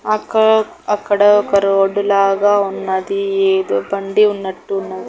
అక అక్కడ ఒక రోడ్డు లాగా ఉన్నది ఏదో బండి ఉన్నటున్నది.